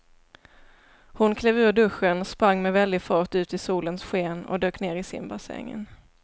Hon klev ur duschen, sprang med väldig fart ut i solens sken och dök ner i simbassängen.